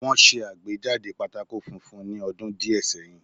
Wọ́n ṣe àgbéjáde pátákó funfun ní ọdún díẹ̀ sẹ́yìn